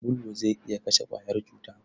Sabulu zai iya kashe ƙwayar cuta.